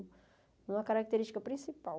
É uma característica principal.